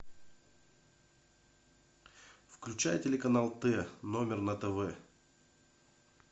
включай телеканал т номер на тв